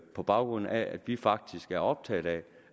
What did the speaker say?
på baggrund af at vi faktisk er optaget af